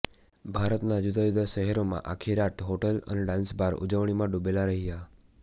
ભારતના જુદા જુદા શહેરોમાં આખી રાત હોટલ અને ડાન્સબાર ઉજવણીમાં ડૂબેલા રહ્યા